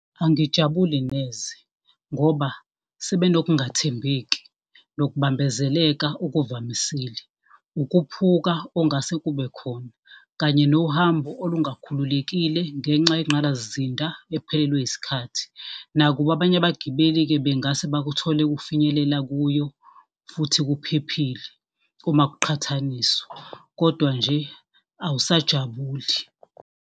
Angijabuli neze, ngoba sebenokungathembeki nokubambezeleka okuvamisile. Ukuphuka ongase kube khona kanye nohambo olungakhululekile ngenxa yenqalasizinda ephelelwe yisikhathi. Nakuba abanye abagibeli-ke bengase bakuthole kufinyelela kuyo, futhi kuphephile uma kuqhathaniswa, kodwa nje awusajabuli.